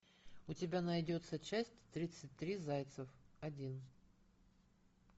у тебя найдется часть тридцать три зайцев один